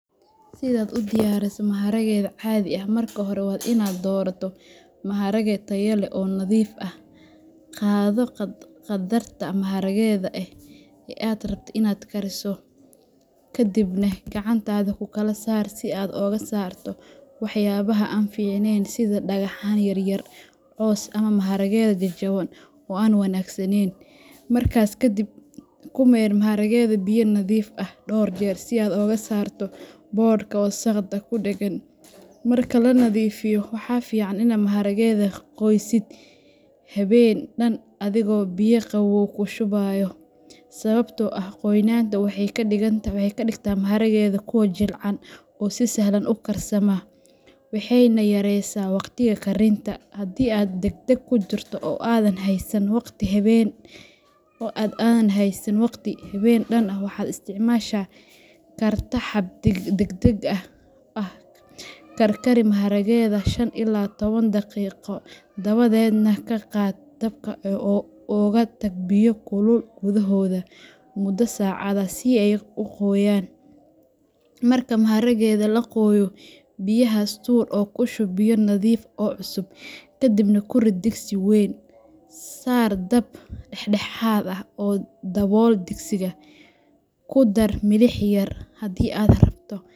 Si aad u diyaariso maharageyda caadi ah, marka hore waa in aad doorataa maharage tayo leh oo nadiif ah. Qaado qaddarka maharageyda ah ee aad rabto inaad kariso, kadibna gacanta ku kala saaro si aad uga saarto waxyaabaha aan fiicnayn sida dhagxaan yar yar, caws, ama maharageyda jajaban oo aan wanaagsanayn. Markaas ka dib, ku maydh maharageyda biyo nadiif ah dhowr jeer si aad uga saarto boodhka iyo wasakhda ku dheggan. Marka la nadiifiyo, waxa fiican inaad maharagaha qoysid habeen dhan adigoo biyo qabow ku shubaya, sababtoo ah qoynta waxay ka dhigtaa maharageyda kuwo jilicsan oo si sahlan u karsama, waxayna yareysaa waqtiga karinta. Haddii aad degdeg ku jirto oo aadan haysan waqti habeen dhan ah, waxaad isticmaali kartaa hab degdeg ah, karkari maharageyda shan ila toban daqiiqo, dabadeedna ka qaad dabka oo uga tag biyo kulul gudahooda muddo saacad ah si ay u qoyaan. Marka maharageyda la qooyo, biyahaas tuur oo ku shub biyo nadiif ah oo cusub, kadibna ku rid digsi weyn. Saar dab dhexdhexaad ah oo dabool digsi. Ku dar milix yar, haddii aad rabto.